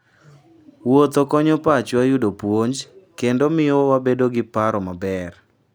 Wuotho konyo pachwa yudo puonj, kendo miyo wabedo gi paro maber.